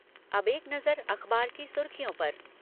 अब एक नजर अखबारों की सुर्खियों पर ..